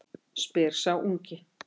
spyr sá ungi.